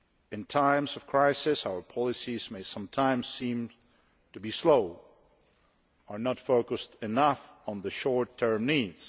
In times of crisis, our policies may sometimes seem to be slow or not focused enough on short term needs.